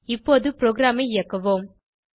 இப்பொது ப்ரோகிராமை இயக்குவோம்